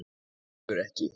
En rífur ekki.